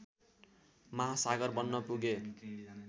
महासागर बन्न पुगे